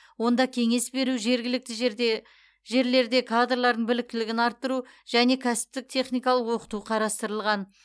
онда кеңес беру жергілікті жерде жерлерде кадрлардың біліктілігін арттыру және кәсіптік техникалық оқыту қарастырылған